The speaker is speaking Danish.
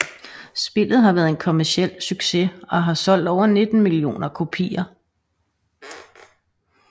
Spillet har været en kommerciel succes og har solgt over 19 millioner kopier